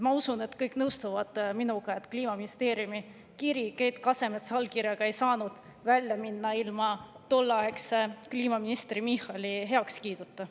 Ma usun, et kõik nõustuvad minuga, et Kliimaministeeriumi kiri Keit Kasemetsa allkirjaga ei saanud välja minna ilma tolleaegse kliimaministri Michali heakskiiduta.